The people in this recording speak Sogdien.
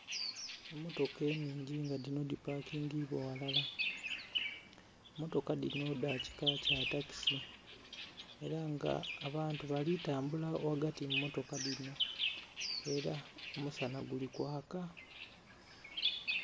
Emmotoka ennhingi nga dhino dipakingibwa ghalala. Mmotoka dhino dha kika kya takisi. Ela nga abantu bali tambula ghagati mu mmotoka dhino. Ela omusana guli kwaka.